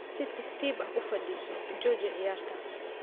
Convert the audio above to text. Si tartiib ah u fadhiiso, jooji ciyaarta.